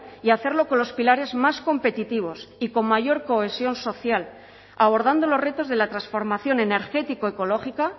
y hacerlo con los pilares más competitivos y con mayor cohesión social abordando los retos de la transformación energético ecológica